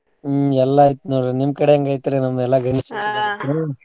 ಹ್ಮ್ ಎಲ್ಲಾ ಐತ್ ನೋಡ್ರಿ ನಿಮ್ ಕಡೆ ಹೆಂಗ್ ಐತಿರೀ ನಮ್ವೆಲ್ಲಾ ?